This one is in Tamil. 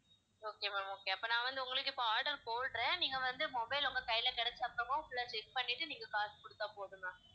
okay ma'am okay அப்ப நான் வந்து உங்களுக்கு இப்ப order போடுறேன் நீங்க வந்து mobile உங்க கையில கிடைச்ச அப்புறம் full ஆ check பண்ணிட்டு நீங்க காசு குடுத்தா போதும் ma'am